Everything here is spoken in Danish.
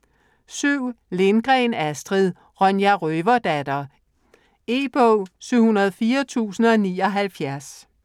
Lindgren, Astrid: Ronja Røverdatter E-bog 704079